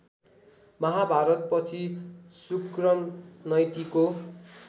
महाभारतपछि शुक्रनैतिको